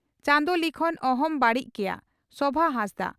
ᱪᱟᱸᱫᱚ ᱞᱤᱠᱷᱚᱱ ᱚᱦᱚᱢ ᱵᱟᱹᱲᱤᱡ ᱠᱮᱭᱟ (ᱥᱚᱵᱷᱟ ᱦᱟᱸᱥᱫᱟᱜ)